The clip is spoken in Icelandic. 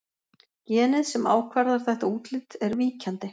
Genið sem ákvarðar þetta útlit er víkjandi.